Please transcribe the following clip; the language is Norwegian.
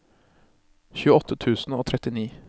tjueåtte tusen og trettini